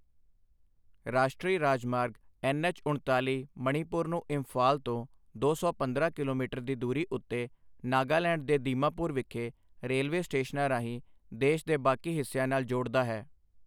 ਰਾਸ਼ਟਰੀ ਰਾਜਮਾਰਗ ਐੱਨਐੱਚ ਉਣਤਾਲੀ ਮਣੀਪੁਰ ਨੂੰ ਇੰਫਾਲ ਤੋਂ ਦੋ ਸੌ ਪੰਦਰਾਂ ਕਿਲੋਮੀਟਰ ਦੀ ਦੂਰੀ ਉੱਤੇ ਨਾਗਾਲੈਂਡ ਦੇ ਦੀਮਾਪੁਰ ਵਿਖੇ ਰੇਲਵੇ ਸਟੇਸ਼ਨਾਂ ਰਾਹੀਂ ਦੇਸ਼ ਦੇ ਬਾਕੀ ਹਿੱਸਿਆਂ ਨਾਲ ਜੋੜਦਾ ਹੈ।